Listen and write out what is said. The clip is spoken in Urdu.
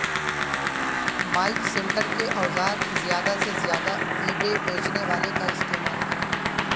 مائیک سینٹر کے اوزار زیادہ سے زیادہ ای بے بیچنے والے کا استعمال کریں